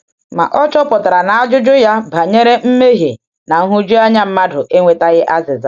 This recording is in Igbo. Ma ọ chọpụtara na ajụjụ ya banyere mmehie na um nhụjuanya mmadụ enwetaghị azịza.